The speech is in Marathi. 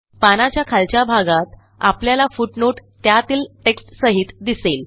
पानाच्या खालच्या भागात आपल्याला फुटनोट त्यातील टेक्स्टसहित दिसेल